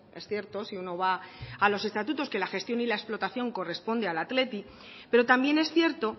es cierto si uno va a los estatutos que la gestión y la explotación corresponde al athletic pero también es cierto